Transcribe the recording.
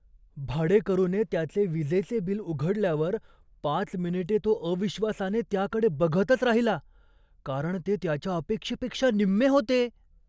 भाडेकरूने त्याचे वीजेचे बिल उघडल्यावर पाच मिनिटे तो अविश्वासाने त्याकडे बघतच राहिला, कारण ते त्याच्या अपेक्षेपेक्षा निम्मे होते!